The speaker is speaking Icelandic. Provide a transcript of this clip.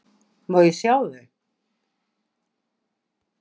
Má ég sjá þau?